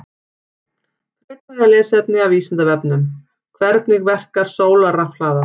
Frekara lesefni af Vísindavefnum: Hvernig verkar sólarrafhlaða?